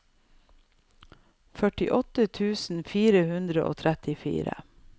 førtiåtte tusen fire hundre og trettifire